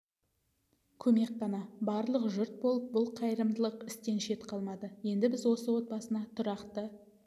көмек қана барлық жұрт болып бұл қайырымдылық істен шет қалмады енді біз осы отбасына тұрақты